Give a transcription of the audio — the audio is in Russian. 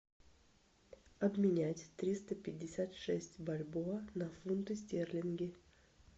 обменять триста пятьдесят шесть бальбоа на фунты стерлинги